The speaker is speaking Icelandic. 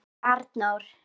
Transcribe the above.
sagði Arnór.